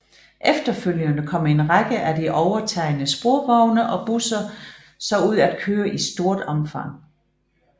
Efterfølgende kom en række af de overtagne sporvogne og busser så ud at køre i stort omfang